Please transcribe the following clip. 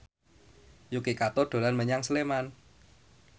Yuki Kato dolan menyang Sleman